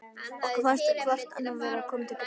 Okkur fannst vart annað koma til greina.